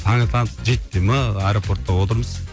таң ата жеті де ме аэропортта отырмыз